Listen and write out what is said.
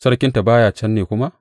Sarkinta ba ya can ne kuma?